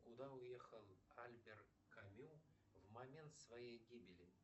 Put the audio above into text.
куда уехал альбер камю в момент своей гибели